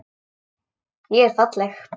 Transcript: Ég er falleg.